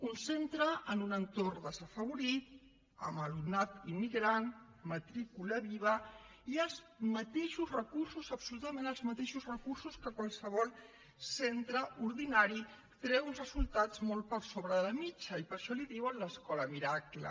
un centre en un entorn desafavorit amb alumnat immigrant matrícula viva i els mateixos recursos absolutament els mateixos recursos que qualsevol centre ordinari treu uns resultats molt per sobre de la mitjana i per això en diuen l’escola miracle